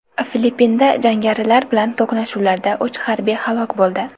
Filippinda jangarilar bilan to‘qnashuvlarda uch harbiy halok bo‘ldi.